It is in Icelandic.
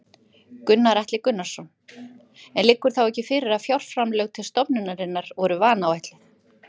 Gunnar Atli Gunnarsson: En liggur þá ekki fyrir að fjárframlög til stofnunarinnar voru vanáætluð?